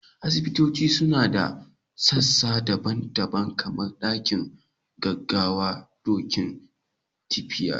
Asibitoci suna da sassa daban-daban, kamar dakin gaggawa, dakunan tiyata